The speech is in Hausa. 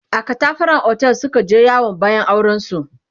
a katafaran otel Suka je yawon bayan auren su